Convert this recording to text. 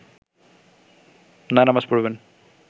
না নামাজ পড়বেন